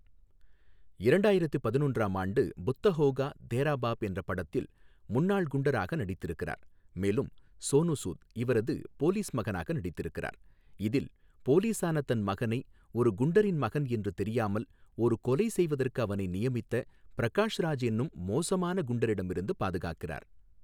இரண்டாயிரத்து பதினொன்றாம் ஆண்டு புத்தா ஹோகா தெரா பாப் என்ற படத்தில் முன்னாள் குண்டராக நடித்திருக்கிறார், மேலும் சோனு சூட் இவரது போலீஸ் மகனாக நடித்திருக்கிறார், இதில் போலீசான தன் மகனை ஒரு குண்டரின் மகன் என்று தெரியாமல் ஒரு கொலை செய்வதற்கு அவனை நியமித்த பிரகாஷ் ராஜ் என்னும் மோசமான குண்டரிடமிருந்து பாதுகாக்கிறார்.